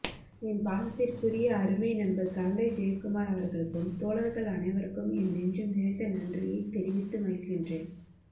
என் பாசத்திற்குரிய அருமை நண்பர் கரந்தை ஜெயக்குமார் அவர்களுக்கும் தோழர்கள் அனைவருக்கும் என் நெஞ்சம் நிறைந்த நன்றியைத் தெரிவித்து மகிழ்கின்றேன்